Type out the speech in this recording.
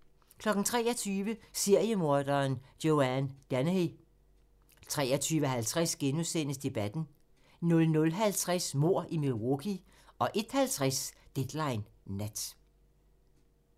23:00: Seriemorderen Joanne Dennehy 23:50: Debatten * 00:50: Mord i Milwaukee 01:50: Deadline Nat